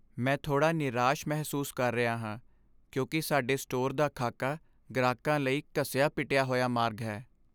ਮੈਂ ਥੋੜਾ ਨਿਰਾਸ਼ ਮਹਿਸੂਸ ਕਰ ਰਿਹਾ ਹਾਂ ਕਿਉਂਕਿ ਸਾਡੇ ਸਟੋਰ ਦਾ ਖਾਕਾ ਗ੍ਰਾਹਕਾਂ ਲਈ ਘਸਿਆ ਪਿਟਿਆ ਹੋਇਆ ਮਾਰਗ ਹੈ